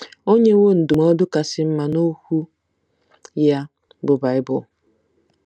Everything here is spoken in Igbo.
O nyewo ndụmọdụ kasị mma n'Okwu ya, bụ́ Bible.